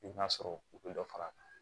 I b'a sɔrɔ u bɛ dɔ far'a kan